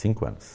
Cinco anos.